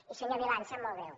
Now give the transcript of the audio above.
i senyor milà em sap molt greu